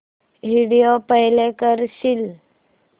video play करशील